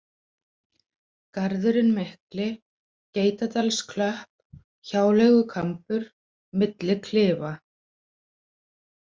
Garðurinn mikli, Geitadalsklöpp, Hjáleigukambur, Milli klifa